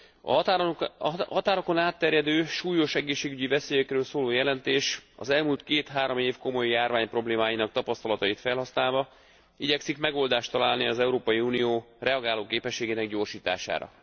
A határokon átterjedő súlyos egészségügyi veszélyekről szóló jelentés az elmúlt két három év komoly járványproblémáinak a tapasztalatait felhasználva igyekszik megoldást találni az Európai Unió reagálóképességének a gyorsítására.